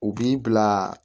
U b'i bila